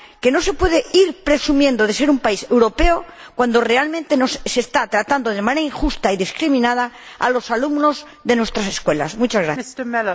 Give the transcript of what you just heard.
No se puede ir presumiendo de ser un país europeo cuando realmente se está tratando de manera injusta y discriminada a los alumnos de nuestras Escuelas Europeas.